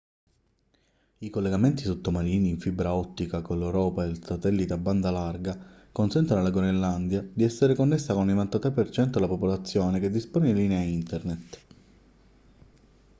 i collegamenti sottomarini in fibra ottica con l'europa e il satellite a banda larga consentono alla groenlandia di essere connessa con il 93% della popolazione che dispone di linea internet